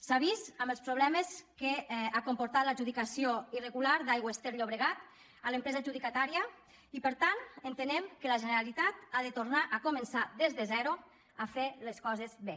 s’ha vist amb els problemes que ha comportat l’adjudicació irregular d’aigües ter llobregat a l’empresa adjudicatària i per tant entenem que la generalitat ha de tornar a començar des de zero a fer les coses bé